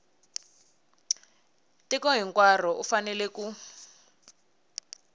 tiko hinkwaro u fanele ku